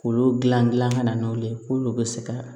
Olu dilan dilan ka na n'olu ye k'olu bɛ se ka